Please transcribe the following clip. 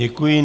Děkuji.